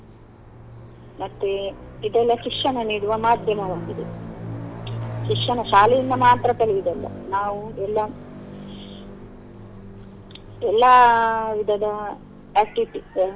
ಮತ್ತೆ ಇದೆಲ್ಲ ಶಿಕ್ಷಣ ನೀಡುವ ಮಾಧ್ಯಮವಾಗಿದೆ ಶಿಕ್ಷಣ ಶಾಲೆಯಿಂದ ಮಾತ್ರ ಕಲಿಯುದು ಅಲ್ಲ ನಾವು ಎಲ್ಲ ಎಲ್ಲ ವಿಧದ activities .